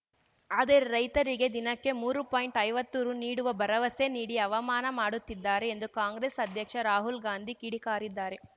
ಆದರೆ ರೈತರಿಗೆ ದಿನಕ್ಕೆ ಮೂರು ಪಾಯಿಂಟ್ಐವತ್ತು ರು ನೀಡುವ ಭರವಸೆ ನೀಡಿ ಅವಮಾನ ಮಾಡುತ್ತಿದ್ದಾರೆ ಎಂದು ಕಾಂಗ್ರೆಸ್‌ ಅಧ್ಯಕ್ಷ ರಾಹುಲ್‌ ಗಾಂಧಿ ಕಿಡಿಕಾರಿದ್ದಾರೆ